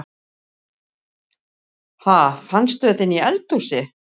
Ha! Fannstu þetta inni í eldhúsi?